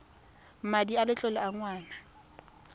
madi a letlole a ngwana